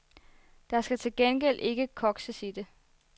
Der skal til gengæld ikke kokses i det.